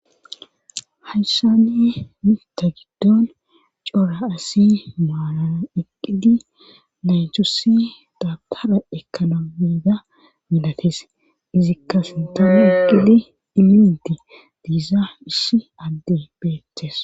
hayshani mita giddon cora asi maalana eqqidi naychusi dabpara ekana mida milates izikka sintama eqqidi iminti diisa isshi adde beettees